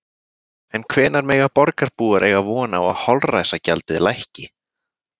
En hvenær mega borgarbúar eiga von á að holræsagjaldið lækki?